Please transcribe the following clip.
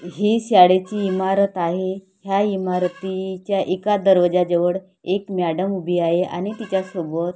हि शाळेची इमारत आहे ह्या इमारतीच्या एका दरवाजाजवळ एक मॅडम उभी आहे आणि तिच्यासोबत--